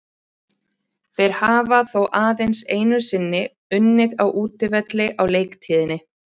Þeir hafa þó aðeins einu sinni unnið á útivelli á leiktíðinni.